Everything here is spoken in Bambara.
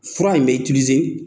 Fura in bɛ